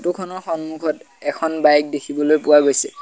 খনৰ সন্মুখত এখন বাইক দেখিবলৈ পোৱা গৈছে।